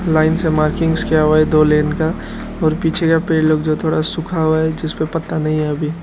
line से markings किया हुआ है दो लेन का और पीछे का पेड़ लोग जो थोड़ा सुखा हुआ है जिसमें पत्ता नई है अभी --